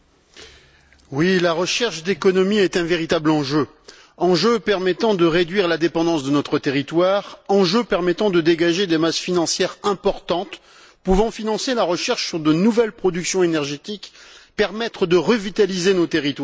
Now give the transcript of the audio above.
Monsieur le Président, la recherche d'économies est un véritable enjeu, enjeu permettant de réduire la dépendance de notre territoire, enjeu permettant de dégager des masses financières importantes pouvant financer la recherche sur de nouvelles productions énergétiques, enjeu permettant de revitaliser nos territoires.